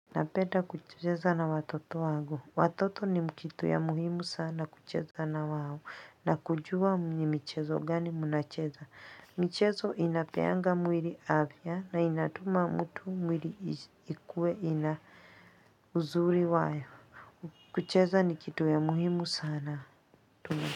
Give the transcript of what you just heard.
Napenda kucheza na watoto wangu. Watoto ni kitu ya muhimu sana kucheza na wao. Na kujua ni michezo gani mna cheza. Mchezo inapeanga mwiri avya na inatuma mtu mwiri ikue ina uzuri wae. Kucheza ni kitu ya muhimu sana. Tuna.